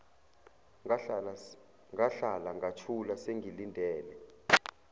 ngahlala ngathula sengilindele